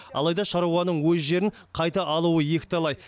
алайда шаруаның өз жерін қайта алуы екіталай